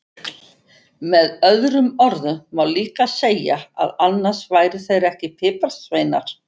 Með öðrum orðum má líka segja að annars væru þeir ekki piparsveinar!